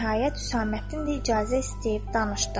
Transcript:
Nəhayət, Hüsəməddin də icazə istəyib danışdı.